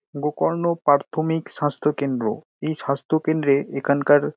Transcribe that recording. গোকর্ণ পার্থমিক স্বাস্থ্যকেন্দ্র এই স্বাস্থ্যকেন্দ্রে এখানকার--